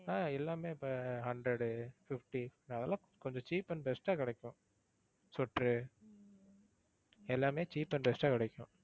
ஆஹ் எல்லாமே இப்போ hundred உ fifty அதெல்லாம் கொஞ்சம் cheap and best ஆ கிடைக்கும் sweater உ எல்லாமே cheap and best ஆ கிடைக்கும்.